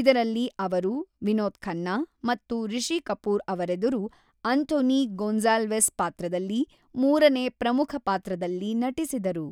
ಇದರಲ್ಲಿ ಅವರು ವಿನೋದ್ ಖನ್ನಾ ಮತ್ತು ರಿಷಿ ಕಪೂರ್ ಅವರೆದರು ಆಂಥೋನಿ ಗೊನ್ಸಾಲ್ವೆಸ್ ಪಾತ್ರದಲ್ಲಿ ಮೂರನೇ ಪ್ರಮುಖ ಪಾತ್ರದಲ್ಲಿ ನಟಿಸಿದರು.